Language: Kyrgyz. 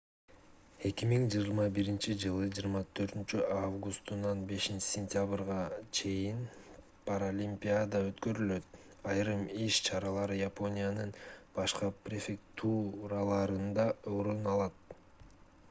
2021-ж 24-августунан 5-сентябрына чейин паралимпиада өткөрүлөт айрым иш-чаралар япониянын башка префектураларында орун алат